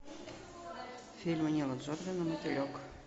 фильм нила джордана мотылек